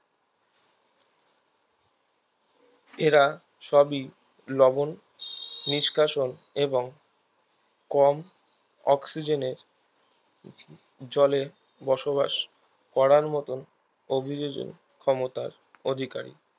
এরা সবই লবন নিষ্কাশন এবং কম অক্সিজেনের জলে বসবাস করার মতন অভিযোজন ক্ষমতার অধিকারী